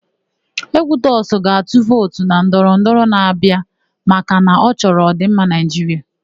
Ekwutọsị ga-atụ vootu na ndọrọndọrọ na-abịa maka na ọ chọrọ ọ̀dị̀mma Naịjiria.